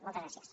moltes gràcies